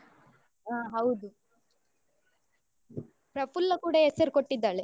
ಹ ಹೌದು ಪ್ರಪ್ಪುಲ್ಲ ಕೂಡ ಹೆಸರು ಕೊಟ್ಟಿದ್ದಾಳೆ.